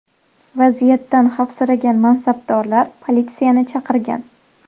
Vaziyatdan xavfsiragan mansabdorlar politsiyani chaqirgan.